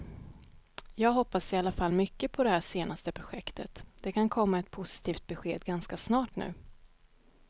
Jag hoppas i alla fall mycket på det här senaste projektet, det kan komma ett positivt besked ganska snart nu.